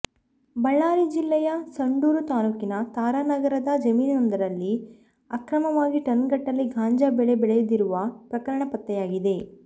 ಬಳ್ಳಾರಿ ಜಿಲ್ಲೆಯ ಸಂಡೂರು ತಾಲೂಕಿನ ತಾರಾನಗರದ ಜಮೀನೊಂದರಲ್ಲಿ ಅಕ್ರಮವಾಗಿ ಟನ್ ಗಟ್ಟಲೇ ಗಾಂಜಾ ಬೆಳೆ ಬೆಳೆದಿರುವ ಪ್ರಕರಣ ಪತ್ತೆಯಾಗಿದೆ